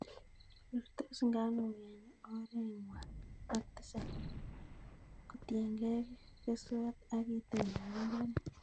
Rurtos nganuk en orowekangw'an ak tisab kotiengei keswot ak itondab mbaret.